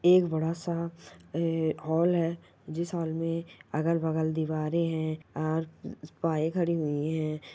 एक बड़ा सा ए हॉल है जिस हॉल में अगल-बगल दीवारे है और खड़ी हुई है।